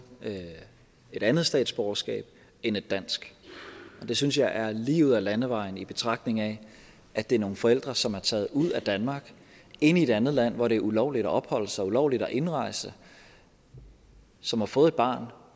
et andet statsborgerskab end et dansk og det synes jeg er lige ud ad landevejen i betragtning af at det er nogle forældre som er taget ud af danmark ind i et andet land hvor det er ulovligt at opholde sig ulovligt at indrejse som har fået et barn